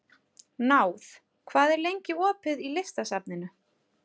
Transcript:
Náð, hvað er lengi opið í Listasafninu?